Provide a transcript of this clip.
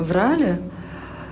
врали